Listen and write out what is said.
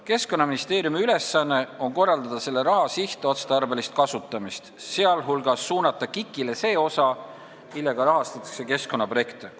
Keskkonnaministeeriumi ülesanne on korraldada selle raha sihtotstarbelist kasutamist, sealhulgas suunata KIK-ile see osa, millega rahastatakse keskkonnaprojekte.